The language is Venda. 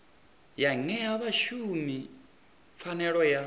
ya ṅea vhashumi pfanelo ya